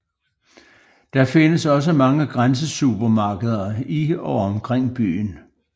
Der findes også mange grænsesupermarkeder i og omkring byen